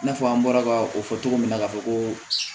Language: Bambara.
I n'a fɔ an bɔra ka o fɔ cogo min na ka fɔ ko